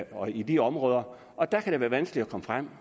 og i de områder og der kan det være vanskeligt at komme frem